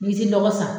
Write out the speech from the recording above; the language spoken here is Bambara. N'i ti lɔgɔ san